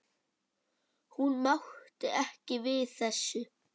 Hún mátti ekki við þessu.